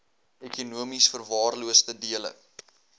ekonomies verwaarloosde dele